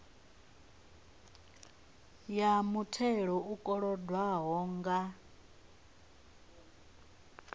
ya muthelo u kolodwaho nga